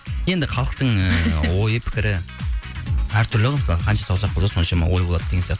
енді халықтың ойы пікірі әртүрлі ғой қанша саусақ болса сонша ой болады деген сияқты